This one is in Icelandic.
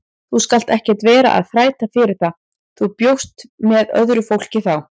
Þú skalt ekkert vera að þræta fyrir það, þú bjóst með öðru fólki þá!